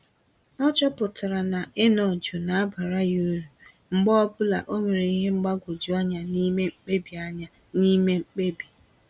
Ọchọpụtara na ịnọ jụụ na abara ya uru, mgbe ọbula onwere ìhè mgbagwoju anya n'ime mkpebi anya n'ime mkpebi